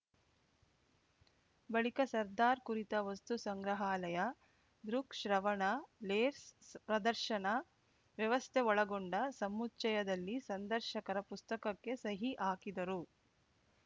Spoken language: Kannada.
ಬಳಿಕ ಸರ್ದಾರ್‌ ಕುರಿತ ವಸ್ತು ಸಂಗ್ರಹಾಲಯ ದೃಕ್‌ಶ್ರವಣ ಲೇಸ್ ಪ್ರದರ್ಶನ ವ್ಯವಸ್ಥೆ ಒಳಗೊಂಡ ಸಮುಚ್ಚಯದಲ್ಲಿ ಸಂದರ್ಶಕರ ಪುಸ್ತಕಕ್ಕೆ ಸಹಿ ಹಾಕಿದರು